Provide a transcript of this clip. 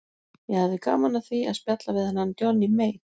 Ég hefði gaman af því að spjalla við þennan Johnny Mate.